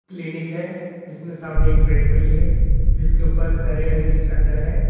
Clinic है जीसमें सामने एक बेड पड़ी है जिसके ऊपर हरे रंग की चादर है।